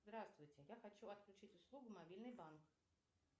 здравствуйте я хочу отключить услугу мобильный банк